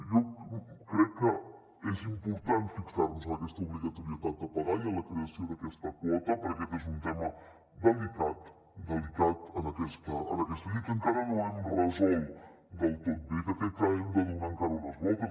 jo crec que és important fixar nos en aquesta obligatorietat de pagar i en la creació d’aquesta quota perquè aquest és un tema delicat en aquesta llei que encara no hem resolt del tot bé que crec que hi hem de donar encara unes voltes